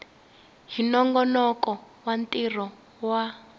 hi nongonoko wa ntirho wa